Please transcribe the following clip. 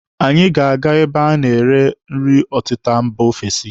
Anyị ga-aga ebe anyị a na-ere nri ọtịta mba ofesi.